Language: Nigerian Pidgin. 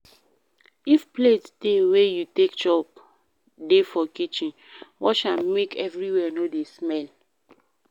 If plate dey wey you take chop dey for kitchen, wash am make everywhere no dey smell